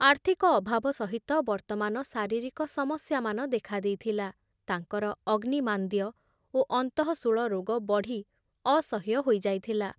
ଆର୍ଥିକ ଅଭାବ ସହିତ ବର୍ତ୍ତମାନ ଶାରୀରିକ ସମସ୍ୟାମାନ ଦେଖା ଦେଇଥିଲା, ତାଙ୍କର ଅଗ୍ନିମାନ୍ଦ୍ୟ ଓ ଅନ୍ତଃଶୂଳ ରୋଗ ବଢ଼ି ଅସହ୍ୟ ହୋଇ ଯାଇଥିଲା ।